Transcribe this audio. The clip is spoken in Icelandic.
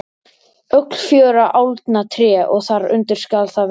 Öll fjögurra álna tré og þar undir skal það vera.